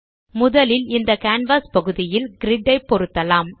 முதலில் இந்த கேன்வாஸ் பகுதியில் கிரிட் ஐப் பொருத்தலாம்